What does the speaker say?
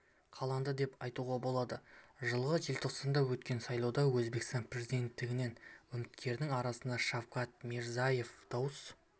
қаланды деп айтуға болады жылғы желтоқсанда өткен сайлауда өзбекстан президенттігінен үміткердің арасынан шавкат мирзиеев дауыс